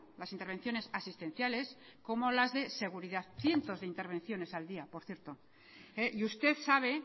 las intervenciones asistenciales como las de seguridad cientos de intervenciones al día por cierto y usted sabe